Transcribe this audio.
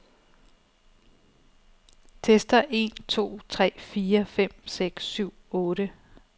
Tester en to tre fire fem seks syv otte.